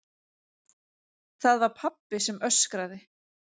Það var pabbi sem öskraði.